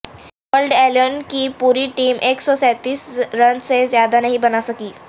world eleven کی پوری team ایک سو سینتیس رنز سے زیادہ نہیں بنا سکی